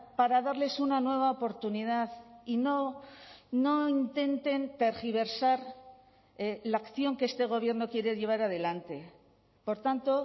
para darles una nueva oportunidad y no no intenten tergiversar la acción que este gobierno quiere llevar adelante por tanto